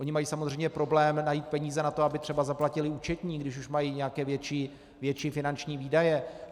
Oni mají samozřejmě problém najít peníze na to, aby třeba zaplatili účetní, když už mají nějaké větší finanční výdaje.